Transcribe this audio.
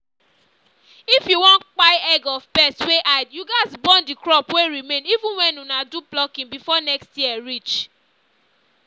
if you won kpai egg of pest wey hide you gats burn the crop wey remain even when una do plucking before next year reach